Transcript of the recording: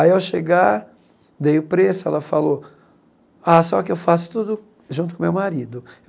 Aí, ao chegar, dei o preço, ela falou, ah, só que eu faço tudo junto com meu marido.